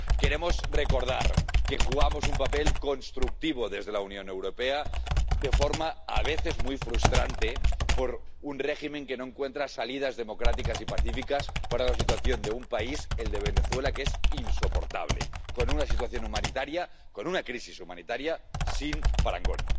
Queremos recordar que jugamos un papel constructivo desde la Unión Europea, de forma a veces muy frustrante, para un régimen que no encuentra salidas democráticas y pacíficas para la situación de un país, el de Venezuela, que es insoportable, con una situación humanitaria, con una crisis humanitaria, sin parangón.